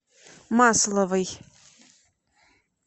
масловой